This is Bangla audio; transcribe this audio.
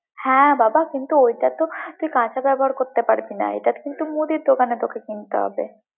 হ্যাঁ, বাবা! কিন্তু তুই ওটাতো তুই কাঁচা ব্যবহার করতে পারবি না, এটা কিন্তু তোকে মুদির দোকানে কিনতে হবে।